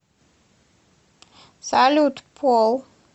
салют пол